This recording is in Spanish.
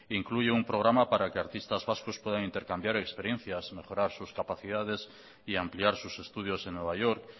incluye un programa para que artistas vascos puedan intercambiar experiencias mejorar sus capacidades y ampliar sus estudios en nueva york